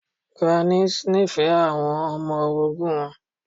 Grannis nífẹ̀ẹ́ àwọn ọmọ orogun wọn.